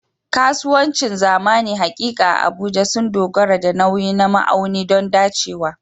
Kasuwancin zamani haƙiƙa a Abuja sun dogara da nauyi na ma'auni don dacewa.